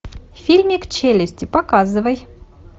фильмик челюсти показывай